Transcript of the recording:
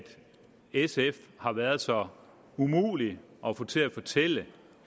sf har været så umulige at få til at fortælle